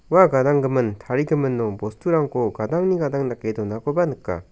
ua gadanggimin tarigimino bosturangko gadangni gadang dake donakoba nika.